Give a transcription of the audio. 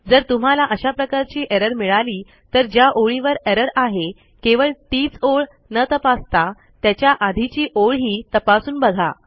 जर तुम्हाला अशा प्रकारची एरर मिळाली तर ज्या ओळीवर एरर आहे केवळ तीच ओळ न तपासता त्याच्या आधीची ओळही तपासून बघा